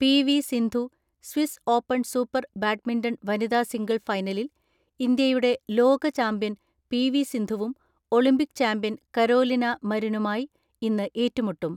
P V Sindhu Swiss open super badminton വനിതാ single ഫൈനലിൽ ഇന്ത്യയുടെ ലോകചാമ്പ്യൻ പി.വി സിന്ധുവും ഒളിംപിക് ചാമ്പ്യൻ കരോലിന മരിനുമായി ഇന്ന് ഏറ്റുമുട്ടും.